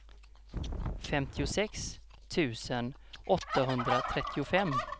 femtiosex tusen åttahundratrettiofem